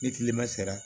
Ni tilema sera